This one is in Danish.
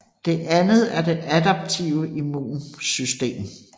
Det anden er det adaptive immunsystem